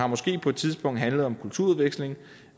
måske på et tidspunkt har handlet om kulturudveksling